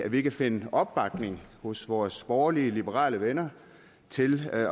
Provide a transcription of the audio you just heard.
vi kan finde opbakning hos vores borgerlige liberale venner til at